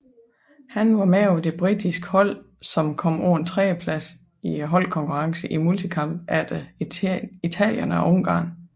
Han var med på det britiske hold som kom på en tredjeplads i holdkonkurrencen i multikamp efter Italien og Ungarn